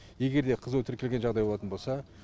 егерде қызуы тіркелген жағдай болатын болса